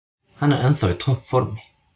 Hann er ennþá í topp formi.